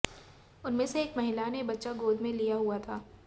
उनमें से एक महिला ने बच्चा गोद में लिया हुआ था